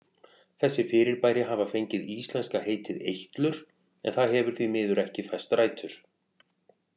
Þessi fyrirbæri hafa fengið íslenska heitið eitlur en það hefur því miður ekki fest rætur.